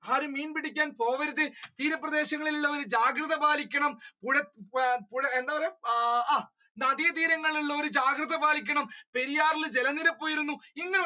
ആരും മീൻ പിടിക്കാൻ പോവരുത് തീരപ്രദേശങ്ങളിൽ ഉള്ളവർ ജാഗ്രത പാലിക്കണം, പുഴ പുഴ എന്ത പറയ്യ നദിതീരങ്ങളിൽ ഉള്ളവർ ജാഗ്രത പാലിക്കണം പെരിയാറിൽ ജലനിരപ്പ് ഉയരുന്നു